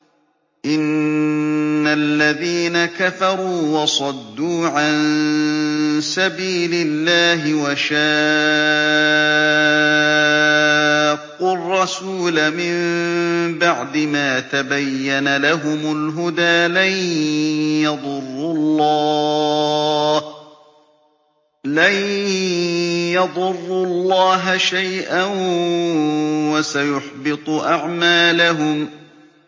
إِنَّ الَّذِينَ كَفَرُوا وَصَدُّوا عَن سَبِيلِ اللَّهِ وَشَاقُّوا الرَّسُولَ مِن بَعْدِ مَا تَبَيَّنَ لَهُمُ الْهُدَىٰ لَن يَضُرُّوا اللَّهَ شَيْئًا وَسَيُحْبِطُ أَعْمَالَهُمْ